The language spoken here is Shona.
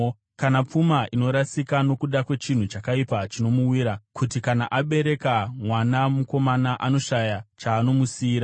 kana pfuma inorasika nokuda kwechinhu chakaipa chinomuwira, kuti kana abereka mwana mukomana anoshaya chaanomusiyira.